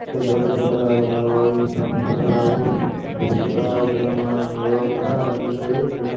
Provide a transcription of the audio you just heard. ಇಲ್ಲಿ ದೊಡ್ಡ ದೊಡ್ಡದಾದ ಮರಗಳು ಇ- ಕಾಣುತ್ತದೆ ಹಾಗೂ ಸಣ್ ಸಣ್ಣದಾದ ಗಿಡಮರಗಳು ಕೂಡ ಇಲ್ಲೆ ಇದೆ.